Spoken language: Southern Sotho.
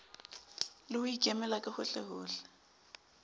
le ho ikemela ka hohlehohle